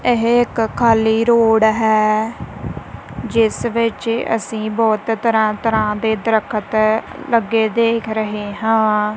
ਇਹ ਇੱਕ ਖਾਲੀ ਰੋਡ ਹੈ ਜਿਸ ਵਿੱਚ ਅਸੀਂ ਬਹੁਤ ਤਰ੍ਹਾਂ ਤਰ੍ਹਾਂ ਦੇ ਦਰਖਤ ਲੱਗੇ ਦੇ ਰਹੇ ਹਾਂ।